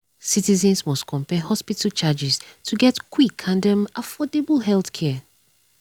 citizens must compare hospital charges to get quick and um affordable healthcare. um